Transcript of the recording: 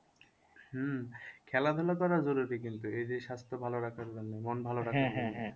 হম খেলাধুলা করা জরুরি কিন্তু এই যে স্বাস্থ্য ভালো রাখার জন্য মন ভালো